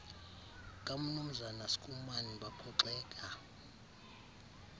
kamnumzana schoeman baphoxeka